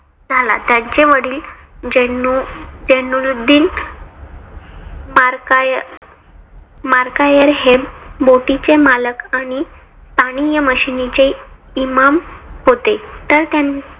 झाला. त्यांचे वडील जैनुलाब्दिन मार मार्काया मार्कायर हे बोटीचे मालक आणि स्थानीय मशिदीचे इमाम होते. तर त्यांनी